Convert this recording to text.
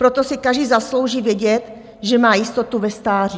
Proto si každý zaslouží vědět, že má jistotu ve stáří.